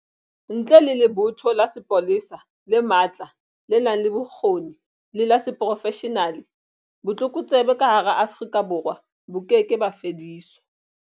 Ntle le lebotho la sepolesa le matla le nang le bokgoni le la seprofeshenale, botlokotsebe ka hara Afrika Borwa bo keke ba fediswa